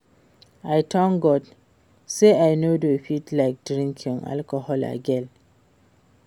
I thank God say I no dey feel like drinking alcohol again